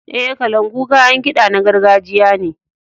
E, kalangu kayan kiɗa na gargajiya ne.